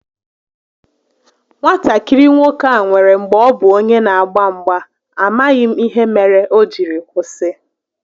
Nwatakịrị nwoke a nwèrè mgbè ọ bu onye n'agba mgba, amaghị m ihe mere o jiri kwụsị